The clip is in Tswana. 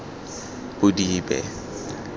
bodibe